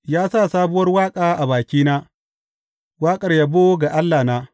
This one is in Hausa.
Ya sa sabuwar waƙa a bakina, waƙar yabo ga Allahna.